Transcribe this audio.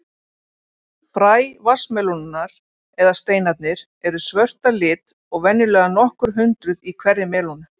Fræ vatnsmelónunnar, eða steinarnir, eru svört að lit og venjulega nokkur hundruð í hverri melónu.